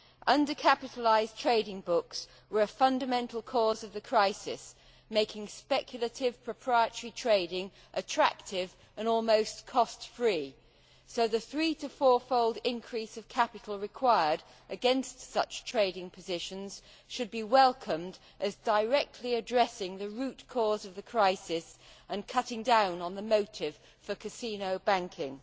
Under capitalised trading books were a fundamental cause of the crisis, making speculative proprietary trading attractive and almost cost free. So the three to four fold increase of capital required against such trading positions should be welcomed as directly addressing the root cause of the crisis and cutting down on the motive for casino banking.